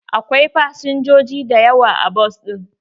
Akwai fasinjoji da yawa a bas ɗin.